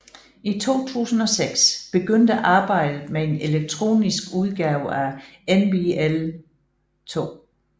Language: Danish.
I 2006 begyndte arbejdet med en elektronisk udgave af NBL2